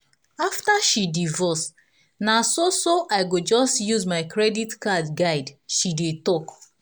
after she divorce na so so "i go just use my credit card guide" she dey talk